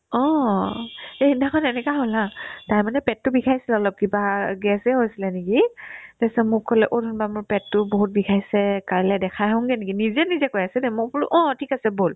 অ, এই সেইদিনাখন এনেকুৱা হ'ল haa তাইৰ মানে পেটতো বিষাইছিল অলপ কিবা গেছে হৈছিলে নেকি তাৰপিছত মোক ক'লে অ' ধুনু বা মোৰ পেটতো বহুত বিষাইছে কাইলে দেখাই আহোংগে নেকি নিজে নিজে কৈ আছে দে মই বোলো অ ঠিক আছে ব'ল